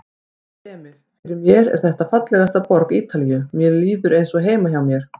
Emil: Fyrir mér er þetta fallegasta borg Ítalíu, mér líður eins og heima hjá mér.